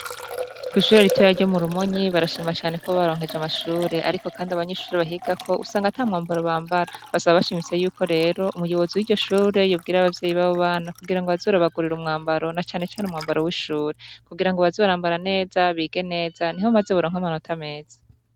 Kw'ishuri ritoya ryo mu Rumonyi barashima cane ko baronkejwe amashure, ariko kandi abanyeshure bahigako usanga ata mwambaro bambara, basa bashimitse yuko rero umuyobozi w'iryo shure yobwira abavyeyi babo bana kugira ngo baze barabagurira umwambaro na canecane umwambaro w'ishure, kugira ngo baze barambara neza bige neza niho maze boronka amanota meza.